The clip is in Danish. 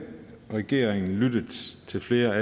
regeringen lyttet til flere af